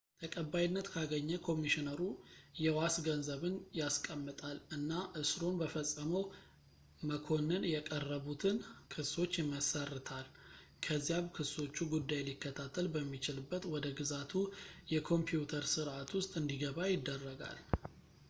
ተቀባይነት ካገኘ ኮሚሽነሩ የዋስ ገንዘብን ያስቀምጣል እና እስሩን በፈጸመው መክኮንን የቀረቡትን ክሶች ይመሰርታ ከዚያም ክሶቹ ጉዳይ ሊከታተል በሚችልበት ወደ ግዛቱ የኮምፕዩተር ስረዕት ውስጥ እንዲገባ ይደረጋል